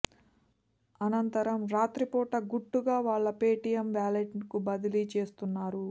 అనంతరం రాత్రిపూట గుట్టుగా వాళ్ల పేటీఎం వ్యాలెట్ కు బదిలీ చేస్తున్నారు